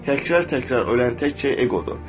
Təkrar-təkrar ölən tək şey eqodur.